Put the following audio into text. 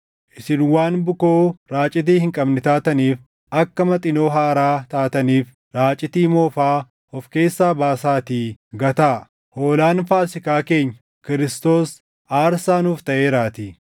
Isin waan bukoo raacitii hin qabne taataniif akka Maxinoo haaraa taataniif raacitii moofaa of keessaa baasaatii gataa; hoolaan Faasiikaa keenya, Kiristoos aarsaa nuuf taʼeeraatii.